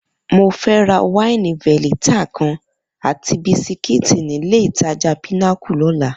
Mo fẹ́ ra wáìnì veleta kan àti bisikíìtì nílé-ìtajà Pinnacle lọ́la